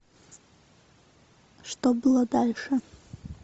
что было дальше